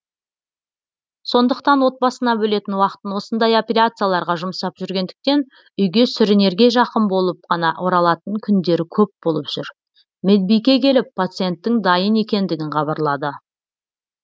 сондықтан отбасына бөлетін уақытын осындай операцияларға жұмсап жүргендіктен үйге сүрінерге жақын болып қана оралатын күндері көп болып жүр медбике келіп пациенттің дайын екендігін хабарлады